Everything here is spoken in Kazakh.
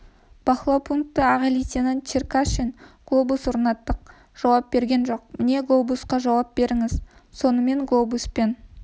бақылау пункті аға лейтенант черкашин глобус орнаттық жауап берген жоқ міне глобусқа жауап беріңіз сонымен глобуспен